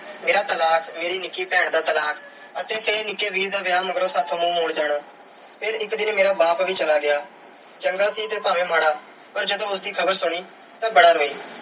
ਮੇਰਾ ਤਲਾਕ, ਮੇਰੀ ਨਿੱਕੀ ਭੈਣ ਦਾ ਤਲਾਕ ਅਤੇ ਫਿਰ ਨਿੱਕੇ ਵੀਰ ਦਾ ਵਿਆਹ ਮਗਰੋਂ ਸਾਥੋਂ ਮੂੰਹ ਮੋੜ ਜਾਣਾ। ਫਿਰ ਇੱਕ ਦਿਨ ਮੇਰਾ ਬਾਪ ਵੀ ਚਲਾ ਗਿਆ। ਚੰਗਾ ਸੀ ਤੇ ਭਾਵੇਂ ਮਾੜਾ। ਪਰ ਜਦੋਂ ਉਸ ਦੀ ਖ਼ਬਰ ਸੁਣੀ, ਤਾਂ ਬੜਾ ਰੋਈ।